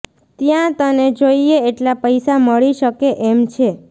ત્યાં તને જોઈએ એટલા પૈસા મળી શકે એમ છે